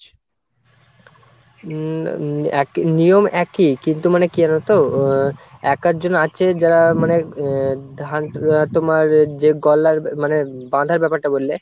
উম এক নিয়ম একই কিন্তু মানে কি জানো তো? আহ এক আধজন আছে যারা মানে আহ ধান তোমার যে গলার মানে বাঁধার ব্যাপারটা বললে